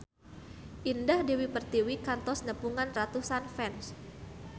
Indah Dewi Pertiwi kantos nepungan ratusan fans